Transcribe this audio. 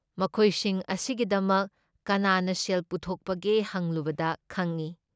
ꯃꯈꯣꯏꯁꯤꯡ ꯑꯁꯤꯒꯤꯗꯃꯛ ꯀꯅꯥꯅ ꯁꯦꯜ ꯄꯨꯊꯣꯛꯄꯒꯦ ꯍꯪꯂꯨꯕꯗ ꯈꯪꯏ